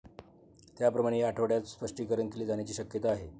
त्याप्रमाणे या आठवड्यात स्पष्टीकरण केले जाण्याची शक्यता आहे.